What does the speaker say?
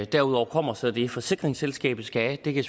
derudover kommer så det forsikringsselskabet skal have det kan